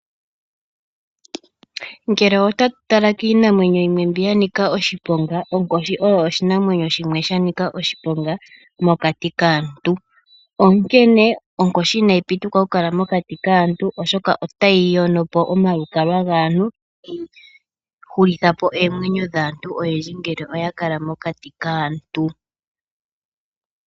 Ngele otatu tala kiinamwenyo yimwe mbi ya nika oshiponga, onkoshi oyo oshinamwenyo shimwe sha nika oshiponga mokati kaantu. Onkene onkoshi inayi pitikwa oku kala mokati kaantu oshoka otayi yono po omalukalwa gaantu etayi hulitha po oomwenyo dhaantu oyendji ngele oya kala mokati kaantu.